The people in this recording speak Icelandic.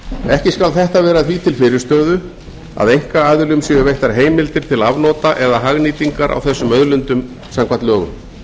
ekki skal þetta vera því til fyrirstöðu að einkaaðilum séu veittar heimildir til afnota eða hagnýtingar á þessum auðlindum samkvæmt lögum